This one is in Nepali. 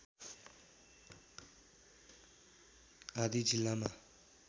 आदि जिल्लामा